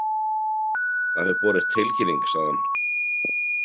Það hefur borist tilkynning, sagði hún.